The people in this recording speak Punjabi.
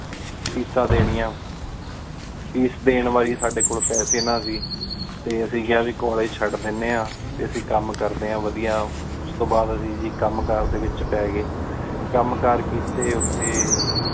ਕੋਲ੍ਲੇਗੇ ਦਿਯਾਂ ਫੀਸ ਦੇਨਿਯਾਂ ਫੀਸ ਦੇਣ ਵਾਲੀ ਸਾਡੀ ਕੋਲ ਪੇਸੀ ਨਾ ਸੀ ਟੀ ਅੱਸੀ ਕ੍ਯਾ ਕਹ ਕੋਲ੍ਲੇਗੇ ਚੜ ਦੇਂਦੀ ਆ ਟੀ ਅੱਸੀ ਕਾਮ ਕਰਦੀ ਆਂ ਵਾਦਿਯ ਉਸ ਤੋ ਬਾਦ ਅੱਸੀ ਗੀ ਕਾਮ ਕਰ ਡੀ ਵਿਚ ਪੀ ਗਏ ਕਾਮ ਕਾਰ ਕੀਤੀ ਓਥੀ